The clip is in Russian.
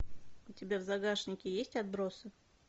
у тебя в загашнике есть отбросы